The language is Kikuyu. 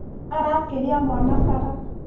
Arakĩria mwana bara